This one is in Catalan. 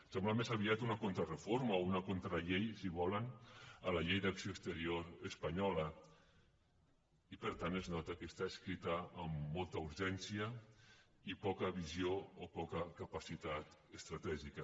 sembla més aviat una contrareforma o una contrallei si ho volen a la llei d’acció exterior espanyola i per tant es nota que està escrita amb molta urgència i poca visió o poca capacitat estratègica